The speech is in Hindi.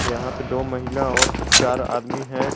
यहां पे दो महिला और चार आदमी हैं।